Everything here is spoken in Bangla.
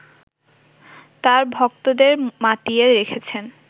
তার ভক্তদের মাতিয়ে রেখেছেন